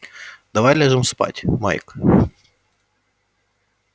давай ляжем спать майк